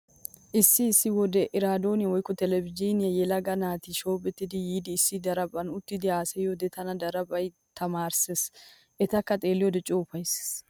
Issi issi wode eraadoone woykko televizhiiniyan yelaga naati shoobetti yiidi issi daraphphan uttidi haasayiyode taani darbba tamaarays. Etakka xeelliyode coo ufayssees.